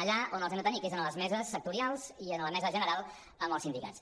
allà on els hem de tenir que és en les meses sectorials i en la mesa general amb els sindicats